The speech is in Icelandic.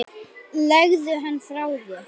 Legðu hann frá þér